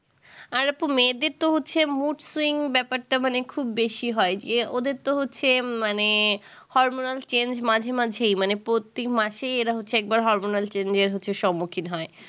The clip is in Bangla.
আর আপু মেয়েদের তো হচ্ছে mood swing ব্যাপারটা মানে খুব বেশি হয় যে ওদের তো হচ্ছে মানে hormonal change মাঝে মাঝেই মানে প্রত্যেক মাসেই এরা হচ্ছে একবার hormonal change এর হচ্ছে সম্মুখীন হয়